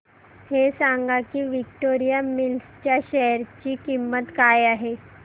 हे सांगा की विक्टोरिया मिल्स च्या शेअर ची किंमत काय आहे